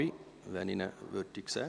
Ich sehe ihn nirgends.